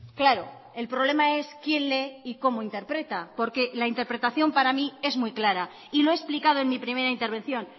claro el problema es quién lee y cómo interpreta porque la interpretación para mí es muy clara y lo he explicado en mi primera intervención